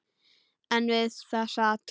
En við það sat.